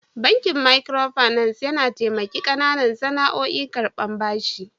Bankin "micro finance " yana tamaki kananan sana'oƴ karban bashi.